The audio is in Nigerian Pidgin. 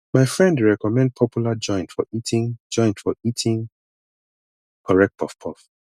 my friend dey recommend popular joint for eating joint for eating correct puffpuff